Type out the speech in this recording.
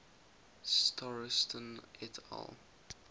starostin et al